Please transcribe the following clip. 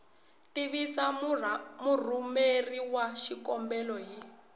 tivisa murhumeri wa xikombelo hi